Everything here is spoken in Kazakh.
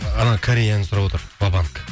анау кореяны сұрап отыр вабанк